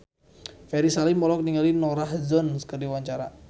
Ferry Salim olohok ningali Norah Jones keur diwawancara